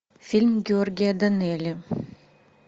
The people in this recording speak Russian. фильм георгия данелия